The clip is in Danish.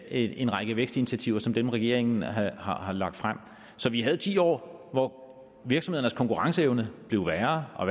en række vækstinitiativer som dem regeringen har har lagt frem så vi havde ti år hvor virksomhedernes konkurrenceevne blev ringere og